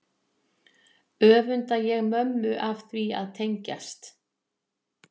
Öfunda ég mömmu af því að tengjast